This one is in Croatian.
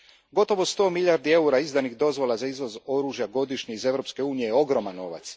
Gotovo sto milijardi eura izdanih dozvola za izvoz oružja godišnje iz Europske unije ogroman je novac.